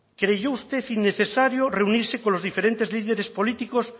creyó usted innecesario reunirse con los diferentes líderes políticos